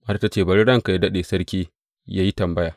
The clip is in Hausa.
Matar ta ce, Bari ranka yă daɗe sarki yă yi tambaya.